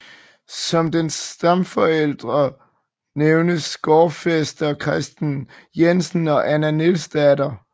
Som dens stamforældre nævnes gårdfæster Christen Jensen og Anna Nielsdatter